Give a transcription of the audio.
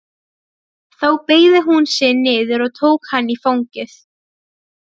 Þá beygði hún sig niður og tók hann í fangið.